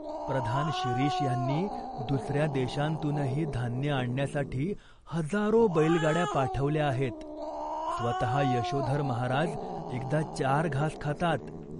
प्रधान शिरीष ह्यांनी दुस या देशांतूनही धान्य आणण्यासाठी हजारो बैलगाड्या पाठवल्या आहेत. स्वतः यशोधर महाराज एकदा चार घास खातात.